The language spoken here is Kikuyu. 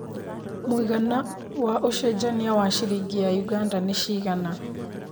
mũigana wa ũcenjanĩa wa ciringi ya Uganda nĩ cigana